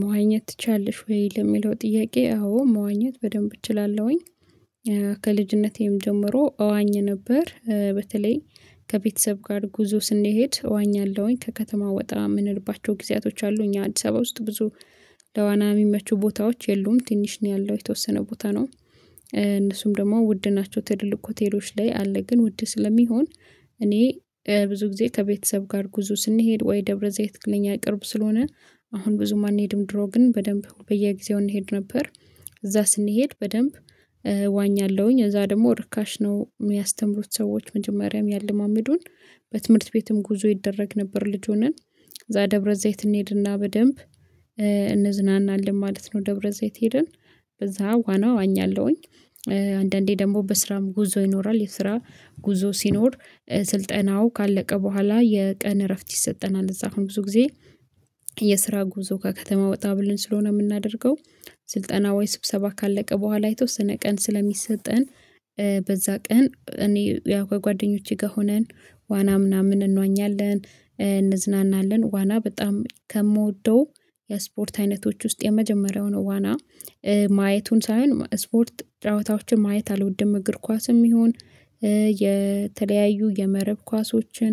መዋኘት ትችያለሽ ወይ? ለሚለው ጥያቄ አዎ መዋኘት በደንብ እችላለሁኝ። ከልጅነቴም ጀምሮ እዋኝ ነበር። በተለይ ከቤተሰብ ጋር ጉዞ ስንሄድ እዋኛለሁኝ ከከተማ ወጣ የምንልባቸው ጊዜያቶች አሉ እኛ አዲስ አበባ ውስጥ ብዙ ለዋና የሚመቹ ቦታዎች የሉም ትንሽ ነው ያለው የተወሰነ ቦታ ነው። እነሱም ደግሞ ውድ ናቸው። ትልልቅ ሆቴሎች ላይ አለ ግን ውድ ስለሚሆን። እኔ ብዙ ጊዜ ከቤተሰብ ጋር ጉዞ ስንሄድ ወይ ደብረዘይት ለኛ ቅርብ ስለሆነ አሁን ብዙም አንሄድም ድሮ ግን በደንብ በየጊዜው እንሄድ ነበር። እዛ ስንሄድ በደንብ ዋኛለሁኝ እዛ ደግሞ ርካሽ ነው የሚያስተምሩት ሰዎች መጀመሪያም ያለማመዱን። በትምህርት ቤትም ጉዞ ይደረግ ነበር ልጅ ሆነን እዛ ደብረ ዘይት እንሄድና በደንብ እንዝናናለን ማለት ነው። ደብረ ዘይት ሄድን በዛ ዋና ዋኛለሁኝ። አንዳንዴ ደግሞ በስራም ጉዞ ይኖራል የስራ ጉዞ ሲኖር ስልጠናው ካለቀ በኋላ የቀን እረፍት ይሰጠናል እዛ አሁን ብዙ ጊዜ። የስራ ጉዞ ከከተማ ወጣ ብለን ስለሆነ የምናደርገው ስልጠና ወይ ስብሰባ ካለቀ በኋላ አይቶ ስነ ቀን ስለሚሰጠን። በዛ ቀን እኔ ከጓደኞቼ ጋር ሆነን ዋና ምናምን እንዋኛለን እንዝናናለን ዋና በጣም ከምወደው የስፖርት አይነቶች ውስጥ የመጀመሪያው ነው። ዋና ማየቱን ሳይሆን ስፖርት ጨዋታዎችን ማየት አልወድም። እግር ኳስም ይሁን የተለያዩ የመረብ ኳሶችን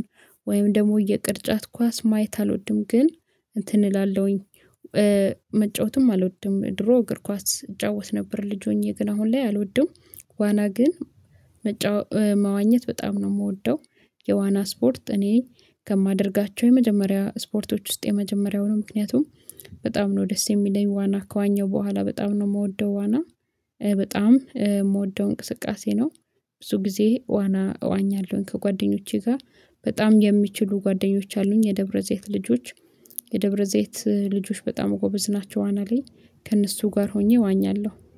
ወይም ደግሞ የቅርጫት ኳስ ማየት አልወድም። ግን እንትን እላለሁኝ መጫወትም አልወድም። ድሮ እግር ኳስ እጫወት ነበር ልጅ ሆኜ ግን አሁን ላይ አልወድም። ዋና ግን መዋኘት በጣም ነው የምወደው። የዋና ስፖርት እኔ ከማደርጋቸው የመጀመሪያ ስፖርቶች ውስጥ የመጀመሪያውን ምክንያቱም በጣም ነው ደስ የሚለኝ ዋና ከዋኘው በኋላ በጣም ነው የምወደው ዋና በጣም የምወደው እንቅስቃሴ ነው። ብዙ ጊዜ ዋና እዋኛለሁኝ ከጓደኞቼ ጋር በጣም የሚችሉ ጓደኞች አሉኝ የደብረዘይት ልጆች የደብረዘይት ልጆች በጣም ጎበዝ ናቸው። ዋና ላይከእነሱ ጋር ሆኜ እዋኛለሁ